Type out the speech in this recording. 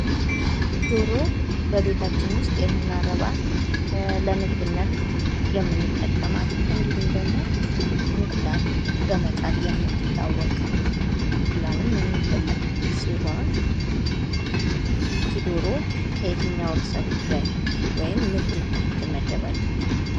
ዶሮ በቤታችን ውስጥ የምናረባት ለምግብነት የምንጠቀማት እንዲሁም ደግሞ እንቁላል በመጣል የምትታወቅ እንቁላሉም የሚበላ ሲሆን ይቺ ዶሮ ከየትኛው ርእሰ ጉዳይ ወይም ምድብ ትመደባለች?